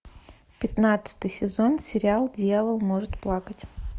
пятнадцатый сезон сериал дьявол может плакать